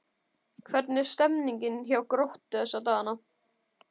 Hvernig er stemmningin hjá Gróttu þessa dagana?